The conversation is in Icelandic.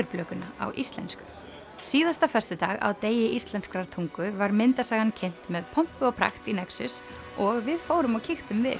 Leðurblökumanninn á íslensku síðasta föstudag á degi íslenskrar tungu var myndasagan kynnt með pompi og prakt í nexus og við fórum og kíktum við